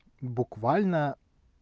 буквально